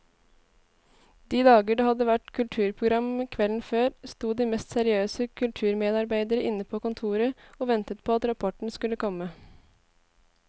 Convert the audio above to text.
De dager det hadde vært kulturprogram kvelden før, sto de mest seriøse kulturmedarbeidere inne på kontoret og ventet på at rapporten skulle komme.